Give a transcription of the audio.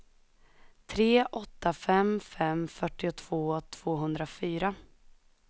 tre åtta fem fem fyrtiotvå tvåhundrafyra